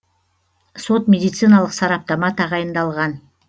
сот медициналық сараптама тағайындалған